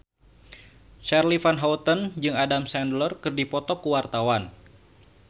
Charly Van Houten jeung Adam Sandler keur dipoto ku wartawan